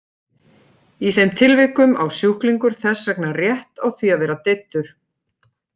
Í þeim tilvikum á sjúklingur þess vegna rétt á því að vera deyddur.